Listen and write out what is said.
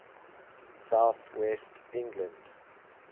south west england